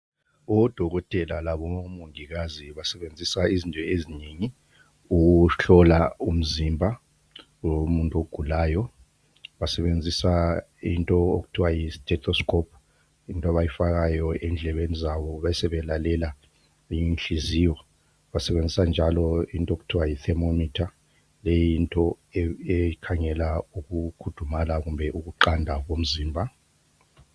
Odokotela labomongikazi basebenzisa izinto ezinengi ukuhlola umzimba womuntu ogulayo basebenzisa i nto okuthiwa yi testoscope yinto abayifakayo endlebeni zabo besebelalela inhliziyo basebenzisa njalo into okuthiwa yi thermometer leyinto ekhangela ukukhudumala kumbe ukuqanda komzimba.